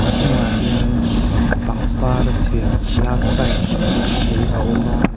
a hnungah hian pangpara siam love sign lem pahnih a awm a--